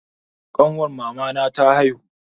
Ƙanwar mamana ta haihu.